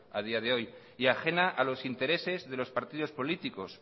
a día de hoy y ajena a los intereses de los partidos políticos